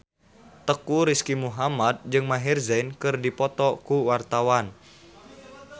Teuku Rizky Muhammad jeung Maher Zein keur dipoto ku wartawan